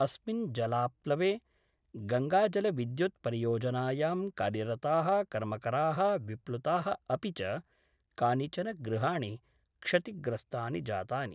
अस्मिन् जलाप्लवे गंगाजलविद्युत् परियोजनायां कार्यरताः कर्मकरा: विलुप्ता: अपि च कानिचन गृहाणि क्षतिग्रस्तानि जातानि।